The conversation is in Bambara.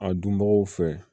A dunbagaw fɛ